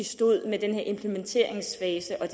vi stod med den her implementeringsfase og